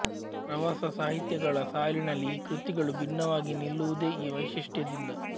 ಪ್ರವಾಸ ಸಾಹಿತ್ಯಗಳ ಸಾಲಿನಲ್ಲಿ ಈ ಕೃತಿಗಳು ಬಿನ್ನವಾಗಿ ನಿಲ್ಲುವುದೇ ಈ ವೈಶಿಷ್ಟ್ಯದಿಂದ